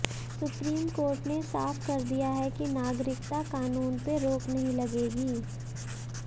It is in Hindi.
सुप्रीम कोर्ट ने साफ कर दिया है कि नागरिकता कानून पे रोक नहीं लगेगी